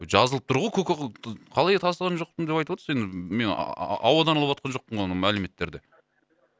жазылып тұр ғой көке қалай тасыған жоқпын деп айтып отырсыз енді мен ауадан алып отырған жоқпын ғой мәліметтерді